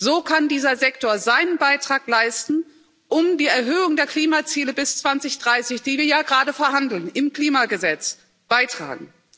So kann dieser Sektor seinen Beitrag leisten, um zu einer Erhöhung der Klimaziele bis 2030, die wir ja gerade verhandeln im Klimagesetz, beizutragen.